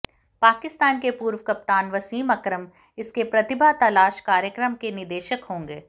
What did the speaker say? पाकिस्तान के पूर्व कप्तान वसीम अकरम इसके प्रतिभा तलाश कार्यक्रम के निदेशक होंगे